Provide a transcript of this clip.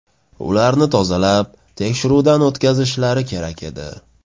Ularni tozalab, tekshiruvdan o‘tkazishlari kerak edi.